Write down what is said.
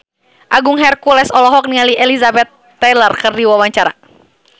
Agung Hercules olohok ningali Elizabeth Taylor keur diwawancara